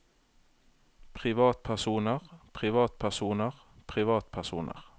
privatpersoner privatpersoner privatpersoner